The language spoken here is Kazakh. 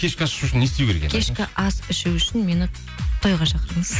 кешкі ас ішу үшін не істеу керек кешкі ас ішу үшін мені тойға шақырыңыз